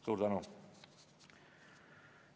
Suur tänu!